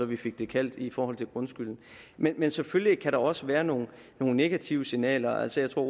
vi fik det kaldt i forhold til grundskylden men selvfølgelig kan også være nogle negative signaler altså jeg tror